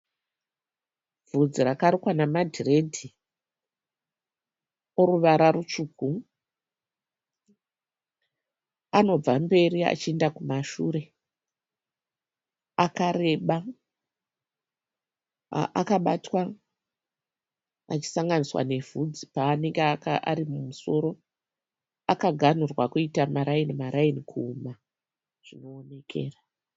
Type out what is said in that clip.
Bvudzi rakarukwa namadhiredhi eruvara rutsvuku. Anobva mberi achienda kumashure, akareba, akabatwa achisanganiswa nebvudzi paanenge arimumusoro. Akaganhurwa kuita maraini maraini kuhuma zvinookera